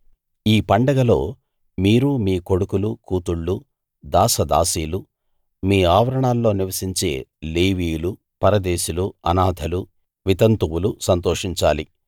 ఈ పండగలో మీరు మీ కొడుకులు కూతుళ్ళు దాసదాసీలు మీ ఆవరణలో నివసించే లేవీయులు పరదేశులు అనాథలు వితంతువులు సంతోషించాలి